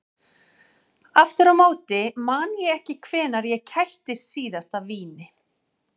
Aftur á móti man ég ekki hvenær ég kættist síðast af víni.